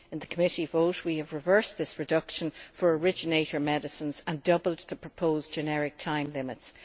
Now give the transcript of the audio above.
In the committee vote we have reversed this reduction for originator medicines and doubled the proposed generic time limits.